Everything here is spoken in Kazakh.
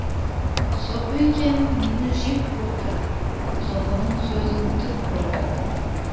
сұпыекең мені жек көрді сұпының сөзін тік көрдім